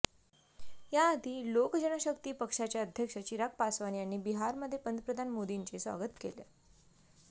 याआधी लोक जनशक्ती पक्षाचे अध्यक्ष चिराग पासवान यांनी बिहारमध्ये पंतप्रधान मोदींचे स्वागत केले